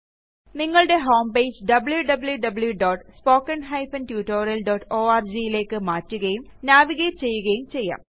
നിങ്ങളുടെ homepage wwwspoken tutorialorgലേയ്ക്ക് മാറ്റുകയും നാവിഗേററ് ചെയ്യുകയും ചെയ്യാം